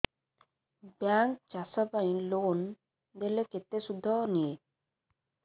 bank ଚାଷ ପାଇଁ loan ଦେଲେ କେତେ ସୁଧ ନିଏ